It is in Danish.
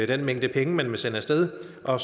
den mængde penge man vil sende af sted og